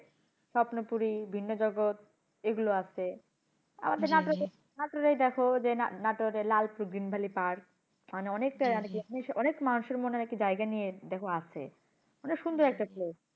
স্বপ্নপূরী ভিন্যজগত এগুলো আছে আমাদের নাটোরেই দেখো যে, নাটোরে মানে অনেকটা অনেক মানুষের মনে হয় নাকি জায়গা নিয়ে, দেখ আছে। মানে সুন্দর একটা place